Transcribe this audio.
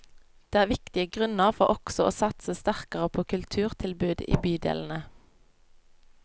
Det er viktige grunner for også å satse sterkere på kulturtilbud i bydelene.